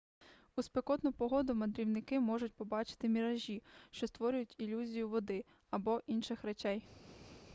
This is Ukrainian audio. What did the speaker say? у спекотну погоду мандрівники можуть побачити міражі що створюють ілюзію води або інших речей